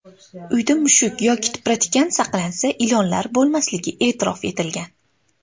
Uyda mushuk yoki tipratikan saqlansa, ilonlar bo‘lmasligi e’tirof etilgan.